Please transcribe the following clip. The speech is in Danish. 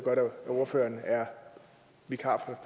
godt at ordføreren er vikar